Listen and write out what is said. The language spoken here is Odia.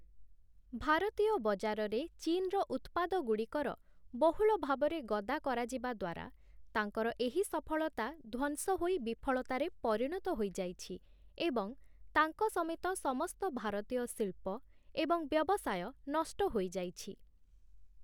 ଭାରତୀୟ ବଜାରରେ ଚୀନ୍‌ର ଉତ୍ପାଦଗୁଡ଼ିକର ବହୁଳ ଭାବରେ ଗଦା କରାଯିବା ଦ୍ୱାରା, ତାଙ୍କର ଏହି ସଫଳତା ଧ୍ୱଂସ ହୋଇ ବିଫଳତାରେ ପରିଣତ ହୋଇଯାଇଛି ଏବଂ ତାଙ୍କ ସମେତ ସମସ୍ତ ଭାରତୀୟ ଶିଳ୍ପ ଏବଂ ବ୍ୟବସାୟ ନଷ୍ଟ ହୋଇଯାଇଛି ।